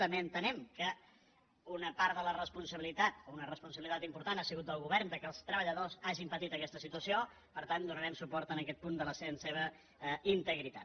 també entenem que una part important de la responsabilitat o una responsabilitat important ha sigut del govern que els treballadors hagin patit aquesta situació per tant donarem suport a aquest punt en la seva integritat